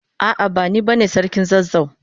A'a, bani bane sarkin zazzau.